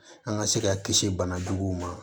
An ka se ka kisi bana juguw ma